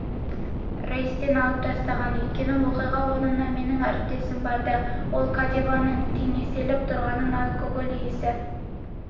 рейстен алып тастаған екен оқиға орнына менің әріптесім барды ол каденованың теңселіп тұрғанын алкоголь иісі